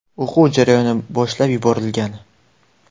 O‘quv jarayoni boshlab yuborilgan.